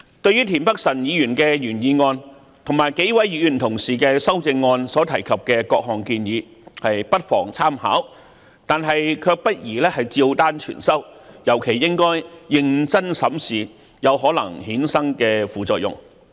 對於田北辰議員的原議案及數位同事的修正案所提及的各項建議不妨參考，但卻不宜照單全收，尤其應認真審視有可能衍生的副作用。